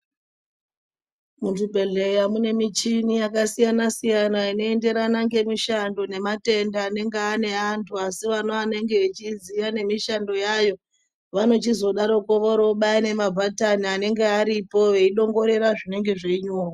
Muzvibhedhleya mune muchini yakasiyana siyana inoenderana ngemishando nematenda anenge ane antu asi anenge echiziya nemishando yayo vanochizodaroko vorobaya nemabhatani anenge aripo veidongorera zvinenge zveinyorwa